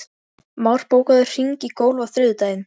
Már, bókaðu hring í golf á þriðjudaginn.